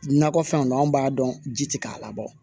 Nakɔfɛnw na an b'a dɔn ji ti k'a labɔ